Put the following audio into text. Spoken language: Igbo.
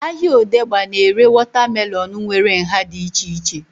Ahịa odegba na-ere wọta melọnu nwere nhá dị iche iche